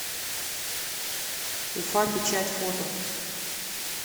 уфа печать фото